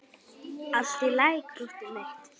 Allt í lagi, krúttið mitt!